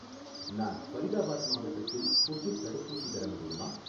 நான் ஃபரிதாபாத் மாவட்டத்தில் ஸ்புட்னிக் தடுப்பூசி பெற முடியுமா?